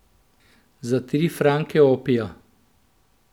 Za tri franke opija!